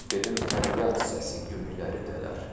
Dedim fəryad səsi göyləri dələr.